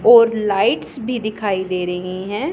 और लाइट्स भी दिखाई दे रही हैं।